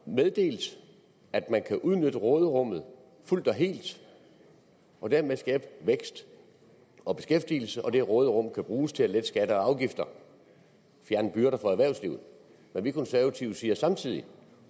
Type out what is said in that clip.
meddelt at man kan udnytte råderummet fuldt og helt og dermed skabe vækst og beskæftigelse og at det råderum kan bruges til at lette skatter og afgifter og fjerne byrder for erhvervslivet vi konservative siger så samtidig